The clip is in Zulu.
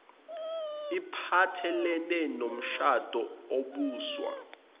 iphathelene nomshado obuswa